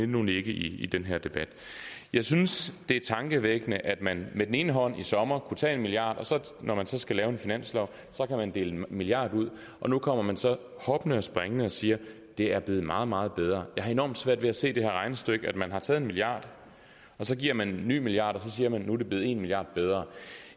nu ligge i den her debat jeg synes det er tankevækkende at man med den ene hånd i sommer kunne tage en milliard og når man så skal lave en finanslov kan man dele en milliard ud og nu kommer man så hoppende og springende og siger at det er blevet meget meget bedre jeg har enormt svært ved at se det her regnestykke man har taget en milliard og så giver man en ny milliard og så siger man at nu er det blevet en milliard bedre